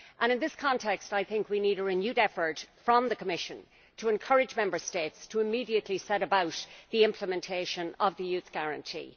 In this context I think we need a renewed effort from the Commission to encourage Member States to immediately set about the implementation of the Youth Guarantee.